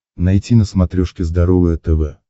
найти на смотрешке здоровое тв